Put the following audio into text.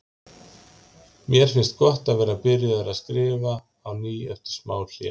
Mér finnst gott að vera byrjaður að skrifa á ný eftir smá hlé.